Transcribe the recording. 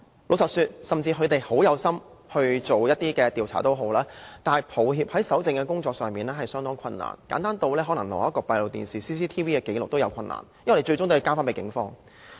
老實說，即使有關方面有心調查，很抱歉，搜證是相當困難的，簡單如取得閉路電視的紀錄也有困難，因為最終也要交回給警方。